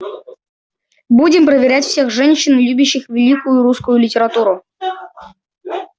будем проверять всех женщин любящих великую русскую литературу